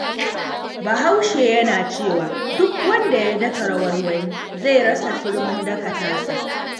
Bahaushe yana cewa duk wanda ya daka rawar wani, zai rasa turmin daka tasa.